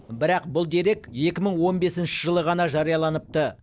бірақ бұл дерек екі мың он бесінші жылы ғана жарияланыпты